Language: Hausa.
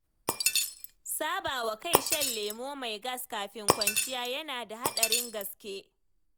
Saba wa kai shan lemo mai gas kafin kwanciya yana da haɗarin gaske